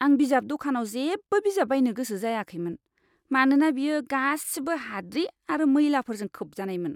आं बिजाब दखानाव जेबो बिजाब बायनो गोसो जायाखैमोन, मानोना बेयो गासिबो हाद्रि आरो मैलाफोरजों खोबजानायमोन!